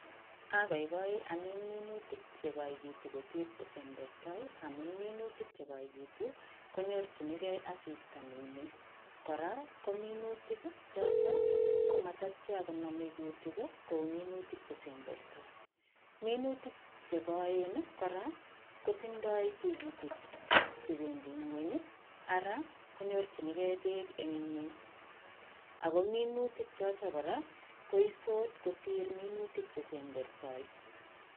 Agogoi amin minutik chegoikitu kosir kesembertoi amu minutik chekoitu konyorchinkei asista neyamei. Kora, ko minutik chotok komatatyaa koname kutik kou minutik chesembertoi. Minutik che koen kora, kotindoi tigitik che bendi nguny, ara, konyorchinkei beek eng nguny, ako minutik chotok kora, koisot kosir minutik chesembertoi